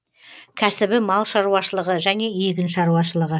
кәсібі мал шаруашылығы және егін шаруашылығы